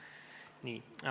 Nii.